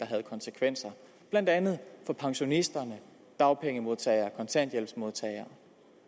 havde konsekvenser blandt andet for pensionisterne dagpengemodtagerne kontanthjælpsmodtagerne